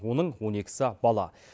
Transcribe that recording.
оның он екісі бала